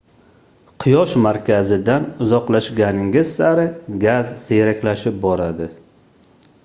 quyosh markazidan uzoqlashganingiz sari gaz siyraklashib boradi